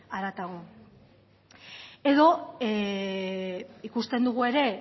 haratago edo ikusten dugu ere